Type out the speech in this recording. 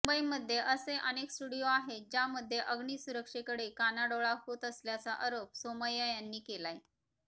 मुंबईमध्ये असे अनेक स्टुडीयो आहेत ज्यामध्ये अग्ऩीसुरक्षेकडे कानाडोळा होत असल्याचा आरोप सोमय्या यांनी केलाय